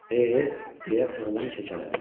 E, deyə oğlan kəkələdi.